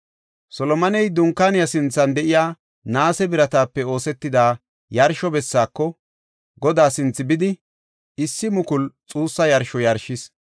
Solomoney Dunkaaniya sinthan de7iya naase biratape oosetida yarsho bessaako, Godaa sinthe bidi, issi mukulu xuussa yarsho yarshis.